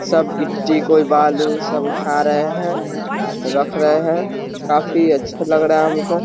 सब गीट्टी कोई बालू उठा रहे हैं रख रहे हैं काफी अच्छा लग रहा है हमको |